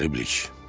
Qəriblik.